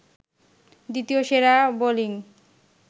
দ্বিতীয় সেরা বোলিং